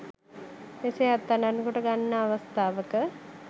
මෙසේ අත්අඩංගුවට ගන්නා අවස්ථාවක